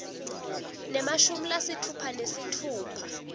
nemashumi lasitfupha nesitfupha